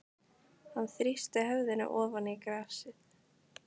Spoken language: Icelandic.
Hann þrýsti höfðinu ofan í grasið.